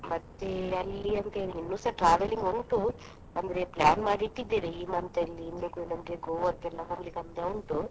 ಮತ್ತೆ ಅಲ್ಲಿ ಅಂದ್ರೆ ಇನ್ನುಸ travelling ಉಂಟು ಅಂದ್ರೆ plan ಮಾಡಿ ಇಟ್ಟಿದ್ದೇವೆ ಈ month ಅಲ್ಲಿ ಇಲ್ಲಿಗೆ ನಮ್ಗೆ Goa ಕ್ಕೆಲ್ಲ ಹೋಗ್ಲಿಕ್ಕೆ ಅಂತ ಉಂಟು.